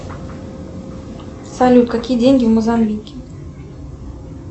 салют какие деньги в мозамбике